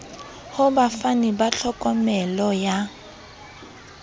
ho bafani ba tlhokomelo ya